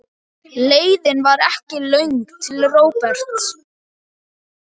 Leiðin var ekki löng til Róberts.